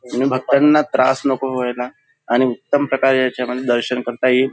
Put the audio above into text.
आणि भक्तांना त्रास नको व्हायला आणि उत्तम प्रकारे ह्यांच्यामध्ये दर्शन करता येईल.